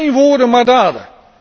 Geen woorden, maar daden.